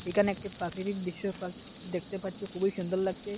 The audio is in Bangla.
এখানে একটি প্রাকৃতিক দৃশ্য পা দেখতে পারছি খুবই সুন্দর লাগছে।